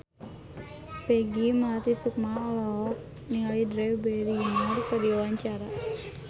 Peggy Melati Sukma olohok ningali Drew Barrymore keur diwawancara